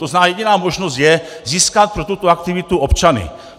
To znamená jediná možnost je získat pro tuto aktivitu občany.